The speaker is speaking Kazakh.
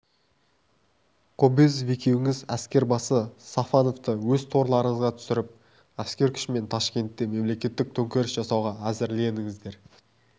кобозев екеуіңіз әскербасы сафоновты өз торларыңызға түсіріп әскер күшімен ташкентте мемлекеттік төңкеріс жасауға әзірлендіңіздер